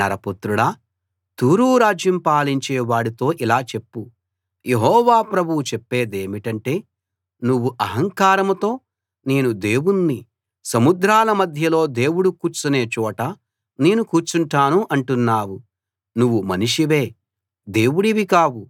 నరపుత్రుడా తూరు రాజ్యం పాలించే వాడితో ఇలా చెప్పు యెహోవా ప్రభువు చెప్పేదేమిటంటే నువ్వు అహంకారంతో నేను దేవుణ్ణి సముద్రాల మధ్యలో దేవుడు కూర్చునే చోట నేను కూర్చుంటాను అంటున్నావు నువ్వు మనిషివే దేవుడివి కావు